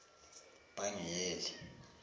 pangiyeli